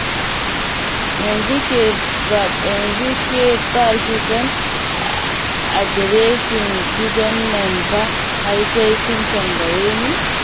Yanzu ke ba ki san adireshin gidan nan ba har sai kin tambaye ni?